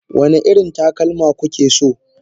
wane irin takalma kuke so?